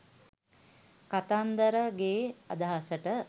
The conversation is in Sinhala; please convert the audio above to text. කතන්දරගෙ අදහසට